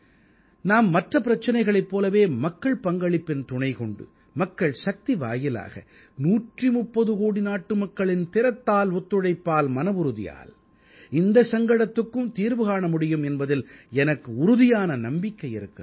நாம் மற்ற பிரச்சனைகளைப் போலவே மக்கள் பங்களிப்பின் துணைக்கொண்டு மக்கள் சக்தி வாயிலாக 130 கோடி நாட்டுமக்களின் திறத்தால் ஒத்துழைப்பால் மனவுறுதியால் இந்தச் சங்கடத்துக்கும் தீர்வு காண முடியும் என்பதில் எனக்கு உறுதியான நம்பிக்கை இருக்கிறது